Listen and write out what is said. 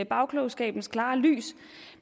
bagklogskabens klare lys